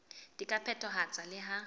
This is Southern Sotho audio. di ka phethahatswa le ha